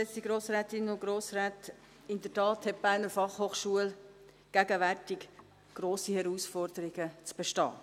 In der Tat hat die BFH gegenwärtig grosse Herausforderungen zu bestehen.